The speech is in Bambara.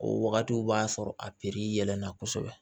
O wagatiw b'a sɔrɔ a yɛlɛnna kosɛbɛ